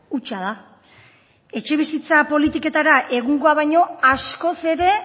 hutsa da etxebizitza politiketara egungoa baino askoz ere